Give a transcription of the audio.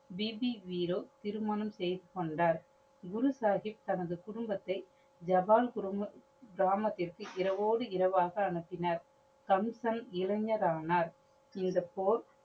B. பி. வீரோ திருமணம் செய்து கொண்டார். குரு சாஹிப் தனது குடும்பத்தை ஜவான் கிராமத்திற்கு இரவோடு இரவாக அனுப்பினர். தம்சன் இளைஞர் ஆனார். இந்த போர்